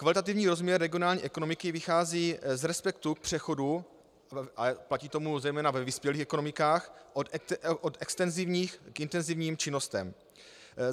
Kvalitativní rozměr regionální ekonomiky vychází z respektu k přechodu - a platí to zejména ve vyspělých ekonomikách - od extenzivních k intenzivním činnostem.